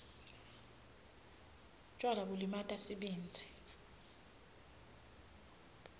tjwala bulimata sibindzi